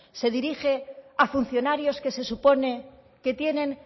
se dirige a funcionarios que se supone que tienen